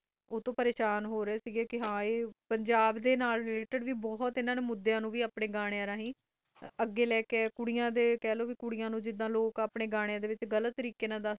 ਪਰੇ ਸ਼ਾਨ ਹੋ ਕਈ, ਪੰਜਾਬ ਡੇ ਨਾਲ ਬੋਥ ਮੁਦਾਯਾ ਨੂੰ ਅਗੈ ਲਈ ਕਈ ਆਯਾ ਕੁਰਾ ਨੂੰ ਵੀ ਖਾ ਲੋ ਜਿੰਦਾ ਲੋਕ ਆਪਣੇ ਗਾਣਾ ਵਿਚ ਉਸੇ ਕਿਡੇ ਨੇ